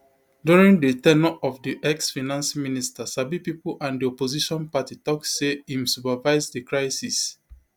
during di ten ure of di exfinance minister sabi pipo and di opposition party tok say im supervise di crisis